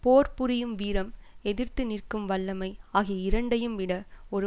போர் புரியும் வீரம் எதிர்த்து நிற்கும் வல்லமை ஆகிய இரண்டையும் விட ஒரு